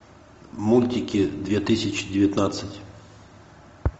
мультики две тысячи девятнадцать